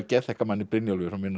geðþekka manni Brynjólfi frá minna